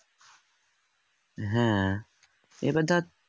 হ্যাঁ এবার ধর